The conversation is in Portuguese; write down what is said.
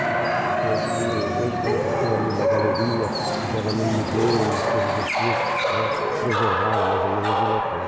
E e hoje hoje parece que tem ali uma galeria, fizeram ali um museu, umas coisas assim né, preservaram mais ou menos o local.